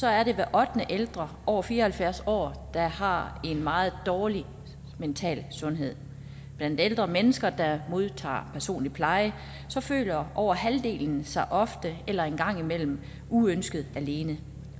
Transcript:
er det hver ottende ældre over fire og halvfjerds år der har en meget dårlig mental sundhed blandt ældre mennesker der modtager personlig pleje føler over halvdelen sig ofte eller en gang imellem uønsket alene